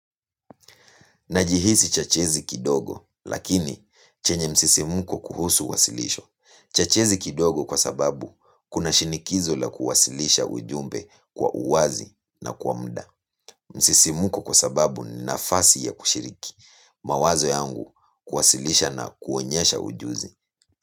Najihisi chachizi kidogo, lakini chenye msisimuko kuhusu wasilisho. Chachizi kidogo kwa sababu kuna shinikizo la kuwasilisha ujumbe kwa uwazi na kwa muda. Msisimuko kwa sababu ni nafasi ya kushiriki mawazo yangu kuwasilisha na kuonyesha ujuzi.